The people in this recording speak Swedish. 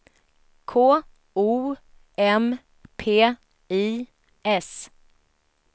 K O M P I S